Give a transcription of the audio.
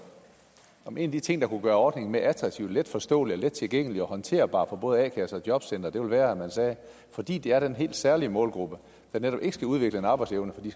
om en af de ting der kunne gøre ordningen mere attraktiv og let forståelig og let tilgængelig og håndterbar for både a kasse og jobcenter ville være at man sagde fordi de er en helt særlig målgruppe der netop ikke skal udvikle en arbejdsevne fordi